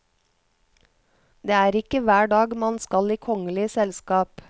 Det er ikke hver dag man skal i kongelig selskap.